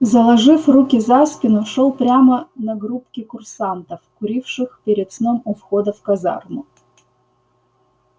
заложив руки за спину шёл прямо на группки курсантов куривших перед сном у входа в казарму